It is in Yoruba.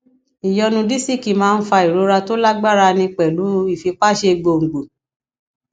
ìyọnu disiki máa ń fa ìrora tó lágbára ní pẹlú ìfipáṣe gbòǹgbò